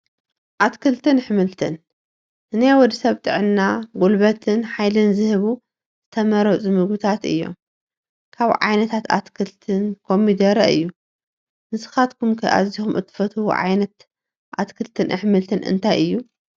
ኣትክልትን ኣሕምልትን፡- ንናይ ወዲ ሰብ ጥዕና ፣ ጉልበትን ሓይልን ዝህቡ ዝተመረፁ ምግብታት እዮም፡፡ ካብ ዓይነታት ኣትክልትን ኮሚደረ አዩ፡፡ ንስኻትኩም ኣዚኹም እትፈትዎ ዓ/ት ኣትክልትን ኣሕምልትን እንታይ እዩ?